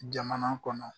Jamana kɔnɔ